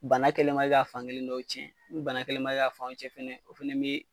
Bana kɛlen ma kɛ ka fan kelen dɔw cɛn ni bana kɛlen ma kɛ ka fanw cɛn fana o fana bɛ.